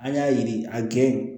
An y'a yiri a gɛn